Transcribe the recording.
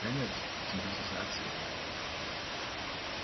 конец цивилизации